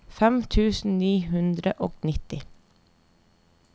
fem tusen ni hundre og nitti